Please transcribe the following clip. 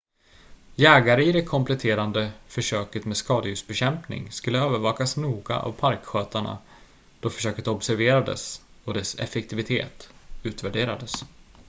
jägare i det kompletterande försöket med skadedjursbekämpning skulle övervakas noga av parkskötarna då försöket observerades och dess effektivitet utvärderades